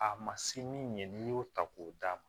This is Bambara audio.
A ma se min ye n'i y'o ta k'o d'a ma